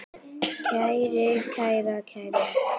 kæri, kæra, kæru